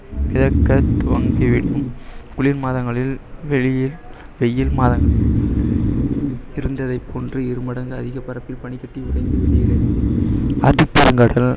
துவங்கிவிடும் குளிர் மாதங்களில் வெளியில்~ வெயில் மாதங்களில் இருந்ததை போன்று இரு மடங்கு அதிக பரப்பில் பனி கட்டி உடைந்து விடுகிறது ஆர்டிக் பெருங்கடல்